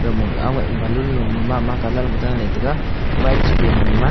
gamah aweh balun lo ma mama colour ma daley tega white pi nima.